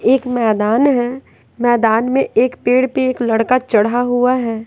एक मैदान है मैदान में एक पेड़ पे एक लड़का चढ़ा हुआ है।